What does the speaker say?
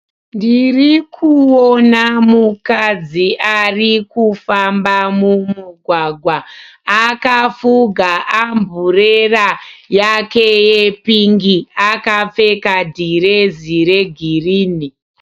Ndirikuona mukadzi arikufamba mumugwagwa. Akafuga amburera yake yepingi. Akapfeka dhirezi regirini.